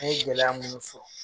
N ɲe gɛlɛya minnu fɔ